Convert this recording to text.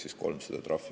Ain Lutsepp.